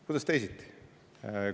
Kuidas teisiti?